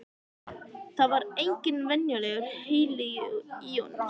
Það er engin venjulegur heili í honum.